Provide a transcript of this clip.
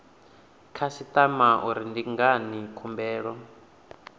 khasitama uri ndi ngani khumbelo